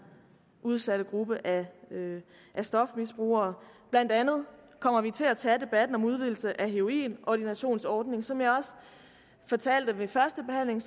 udsatte gruppe af af stofmisbrugere blandt andet kommer vi til at tage debatten om udvidelse af heroinordinationsordningen som jeg også fortalte ved første behandling